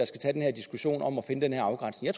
skal tage den diskussion om at finde den her afgrænsning